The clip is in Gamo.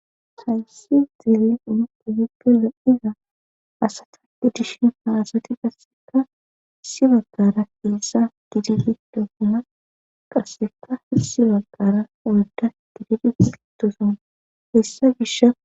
Hayssi zeele umupo yipge lapiza asata gidishi maasati qasseka hissi baggara keesa gidibido huma qasseka hisi baggara uyda gididi sitoson hessa gisha.